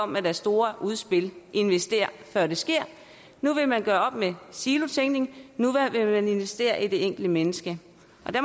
med deres store udspil investér før det sker nu vil man gøre op med silotænkning nu vil man investere i det enkelte menneske